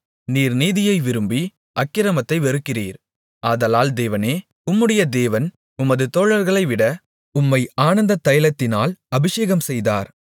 நீர் நீதியை விரும்பி அக்கிரமத்தை வெறுக்கிறீர் ஆதலால் தேவனே உம்முடைய தேவன் உமது தோழர்களைவிட உம்மை ஆனந்ததைலத்தினால் அபிஷேகம்செய்தார்